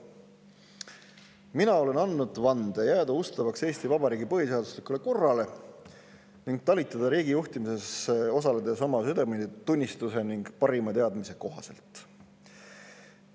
Mina olen andnud vande jääda ustavaks Eesti Vabariigi põhiseaduslikule korrale ning talitada riigi juhtimises osaledes oma südametunnistuse ning parima teadmise kohaselt.